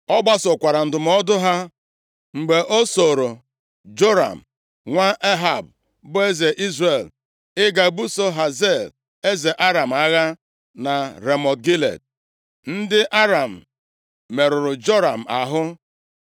O gbasokwara ndụmọdụ ha, mgbe o sooro Joram nwa Ehab, bụ eze Izrel, ịga buso Hazael eze Aram agha na Ramọt Gilead. Ndị Aram merụrụ Joram ahụ,